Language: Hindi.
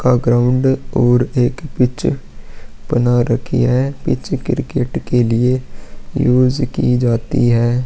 का ग्राउंड और एक पिच बना रखी है पिच क्रिकेट के लिए यूज़ की जाती है।